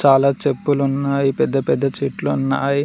అలా చెప్పులు ఉన్నాయి పెద్ద పెద్ద చెట్లు ఉన్నాయి.